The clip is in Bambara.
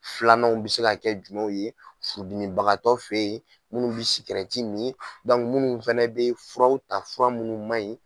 Filananw bɛ se ka kɛ jumɛnw ye furudimibagatɔ fɛ ye minnu bɛ sikɛrɛti min minnu fana bɛ furaw ta fura minnu man ɲi.